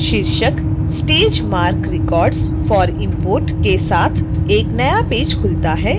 शीर्षक stage marc records for import के साथ एक नया पेज खुलता है